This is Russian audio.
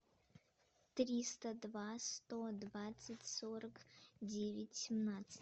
триста два сто двадцать сорок девять семнадцать